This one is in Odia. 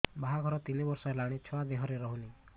ବାହାଘର ତିନି ବର୍ଷ ହେଲାଣି ଛୁଆ ଦେହରେ ରହୁନି